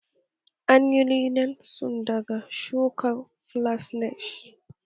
An yi linen sun daga shukar flax neh